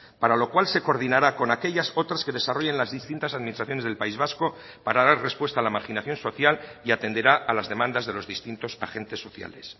para lo cual se coordinará con aquellas otras que desarrollen las distintas administraciones del país vasco para dar respuesta a la marginación social y atenderá a las demandas de los distintos agentes sociales